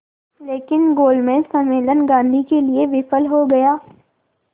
लेकिन गोलमेज सम्मेलन गांधी के लिए विफल हो गया